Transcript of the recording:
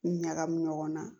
Ɲagamu ɲɔgɔnna